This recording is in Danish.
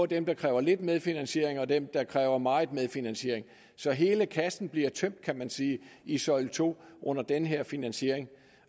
dem der kræver lidt medfinansiering og dem der kræver meget medfinansiering så hele kassen bliver tømt kan man sige i søjle to under den her finansiering